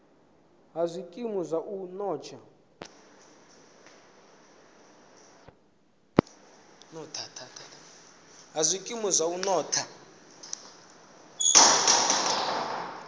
ha zwikimu zwa u notha